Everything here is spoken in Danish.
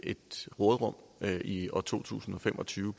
et råderum i år to tusind og fem og tyve